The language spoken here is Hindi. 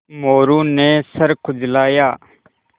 मोरू ने सर खुजलाया